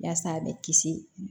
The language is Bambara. Yaasa a bɛ kisi